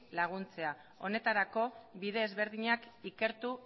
laguntzea honetarako bide ezberdinak ikertuz